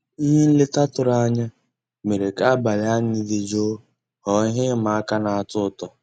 Nlétà tụ̀rụ̀ ànyá mérè ká àbàlí ànyị́ dị́ jụ́ụ́ ghọ́ọ́ íhé ị́mà àká ná-àtọ́ ụtọ́.